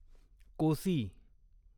Kosi